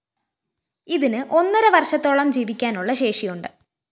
ഇതിന് ഒന്നര വര്‍ഷത്തോളം ജീവിക്കാനുളള ശേഷിയുണ്ട്